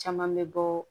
Caman bɛ bɔ